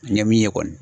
N ye min ye kɔni